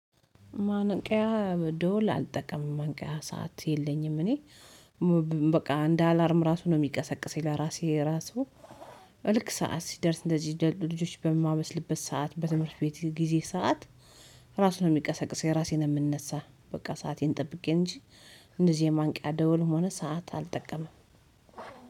ማንቂያ ደውል አልጠቀምም ማንቂያ ሰዓት የለኝም። እኔ በቃ እንደ አላርም ራሱ ነው የሚቀሰቅሰኝ ለራሴ ራሱ። ልክ ሰዓት ሲደርስ እንደዚህ ልጆች በማበስልበት ሰዓት በትምህርት ቤት ጊዜ ሰዓት ራሱን የሚቀሰቅሰኝ ራሴ ነው የምነሳ። በቃ ሰአቴን ጠብቄ እንጂ እንደዚህ የማንቂያ ደውል ሆኖ ሰዓት አልጠቀመም።